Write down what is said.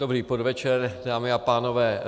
Dobrý podvečer, dámy a pánové.